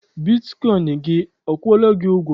Bitkọịn gị akwụọla gị ụgwọ?